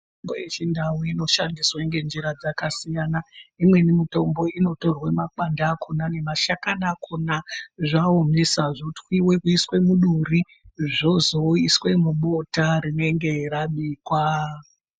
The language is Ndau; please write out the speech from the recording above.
Mitombo yechindau inoshandiswa ngenjira dzakasiyana, imweni mitombo inotorwa makwande akona nemashakani akona, zvaomesa zvotwiva kuiswe muduri zvozoiswe mubota rinenge rabikwa.